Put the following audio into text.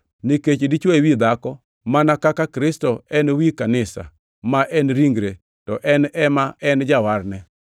Nikech dichwo ewi dhako mana kaka Kristo en wi kanisa, ma en ringre to en ema en Jawarne.